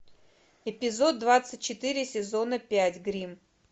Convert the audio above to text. эпизод двадцать четыре сезона пять гримм